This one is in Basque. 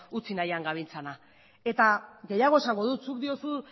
utzi nahian gabiltzana eta gehiago esango dut zuk diozu